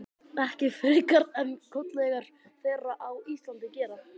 Ekki frekar en kollegar þeirra á Íslandi gera.